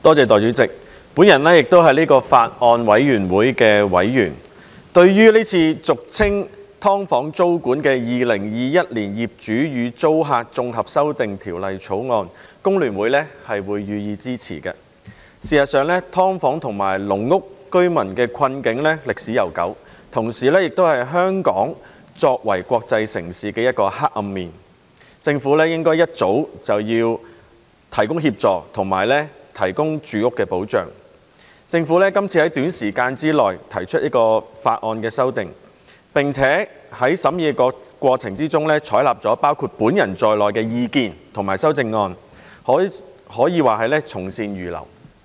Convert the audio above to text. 代理主席，我也是《2021年業主與租客條例草案》委員會的委員，對於這項俗稱"劏房"租管的條例草案，工聯會予以支持。事實上，"劏房"和"籠屋"居民的困境歷史悠久，同時亦是香港作為國際城市的一個黑暗面，政府應該一早提供協助，以及提供住屋保障。政府這次在短時間內提出修訂，並在審議過程中採納各方提出的意見及修正案，可說是從善如流。